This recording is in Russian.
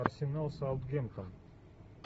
арсенал саутгемптон